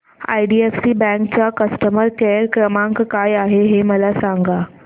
IDFC bank चा customer care क्रमांक काय आहे हे मला सांगा